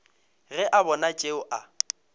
ge a bona tšeo a